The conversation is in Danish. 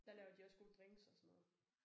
Der laver de også gode drinks og sådan noget